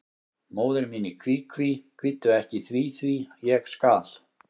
Móðir mín í kví, kví, kvíddu ekki því, því, ég skal.